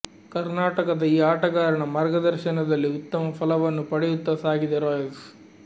ಕರ್ನಾಟಕದ ಈ ಆಟಗಾರನ ಮಾರ್ಗದರ್ಶನದಲ್ಲಿ ಉತ್ತಮ ಫಲವನ್ನು ಪಡೆಯುತ್ತ ಸಾಗಿದೆ ರಾಯಲ್ಸ್